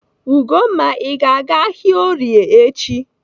Ugomma, Ị ga-aga ahịa Orie echi?